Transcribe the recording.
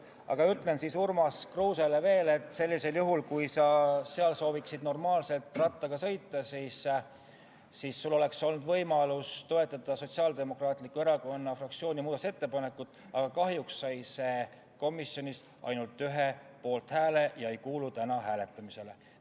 Aga ütlen siis Urmas Kruusele veel seda, et sellisel juhul, kui sa sooviksid seal normaalselt rattaga sõita, oleks sul olnud võimalus toetada Sotsiaaldemokraatliku Erakonna fraktsiooni muudatusettepanekut, mis kahjuks sai komisjonis ainult ühe poolthääle ja ei kuulu täna hääletamisele.